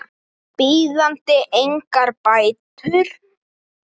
bíðandi engar bætur.